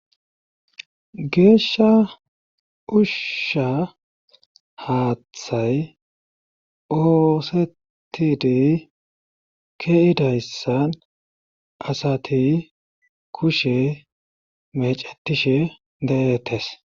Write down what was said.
Geeshsha ushsha haaththay oosetidi keidayssan asati kushe mecetishe deettes.